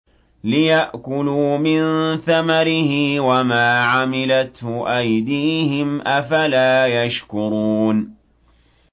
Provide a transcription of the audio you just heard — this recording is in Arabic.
لِيَأْكُلُوا مِن ثَمَرِهِ وَمَا عَمِلَتْهُ أَيْدِيهِمْ ۖ أَفَلَا يَشْكُرُونَ